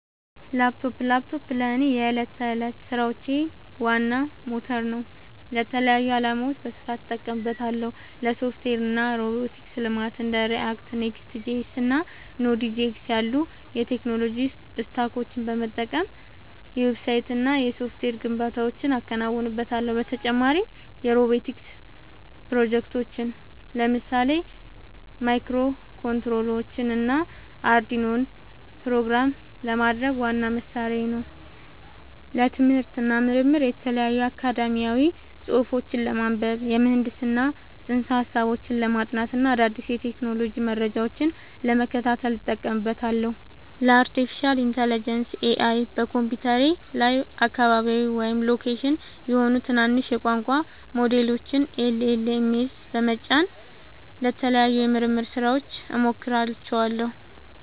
ላፕቶፕ ላፕቶፔ ለእኔ የዕለት ተዕለት ሥራዎቼ ዋና ሞተር ነው። ለተለያዩ ዓላማዎች በስፋት እጠቀምበታለሁ - ለሶፍትዌር እና ሮቦቲክስ ልማት እንደ React፣ Next.js እና Node.js ያሉ የቴክኖሎጂ ስታኮችን በመጠቀም የዌብሳይትና የሶፍትዌር ግንባታዎችን አከናውንበታለሁ። በተጨማሪም የሮቦቲክስ ፕሮጀክቶችን (ለምሳሌ ማይክሮኮንትሮለሮችንና አርዱኢኖን) ፕሮግራም ለማድረግ ዋነኛ መሣሪያዬ ነው። ለትምህርት እና ምርምር የተለያዩ አካዳሚያዊ ጽሑፎችን ለማንበብ፣ የምህንድስና ፅንሰ-ሀሳቦችን ለማጥናት እና አዳዲስ የቴክኖሎጂ መረጃዎችን ለመከታተል እጠቀምበታለሁ። ለአርቲፊሻል ኢንተለጀንስ (AI) በኮምፒውተሬ ላይ አካባቢያዊ (local) የሆኑ ትናንሽ የቋንቋ ሞዴሎችን (LLMs) በመጫን ለተለያዩ የምርምር ሥራዎች እሞክራቸዋለሁ።